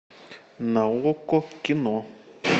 на окко кино